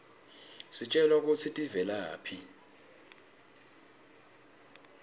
sitjelwa kutsi tivelaphi